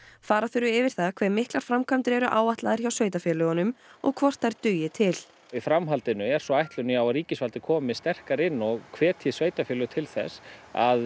fara þurfi yfir það hve miklar framkvæmdir eru áætlaðar hjá sveitarfélögunum og hvort þær dugi til í framhaldinu er svo ætlunin að já ríkisvaldið komi sterkara inn og hvetji sveitarfélög til þess að